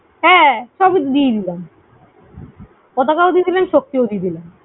হ্যাঁ, সবইতো দিয়ে দিলাম। পতাকাও দিয়ে দিলাম, শক্তিও দিয়ে দিলাম।